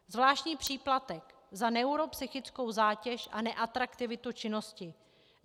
Zvláštní příplatek za neuropsychickou zátěž a neatraktivitu činnosti.